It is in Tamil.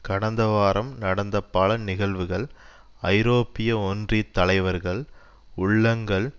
கடந்த வாரம் நடந்த பல நிகழ்வுகள் ஐரோப்பிய ஒன்றியத் தலைவர்கள் உள்ளங்கள்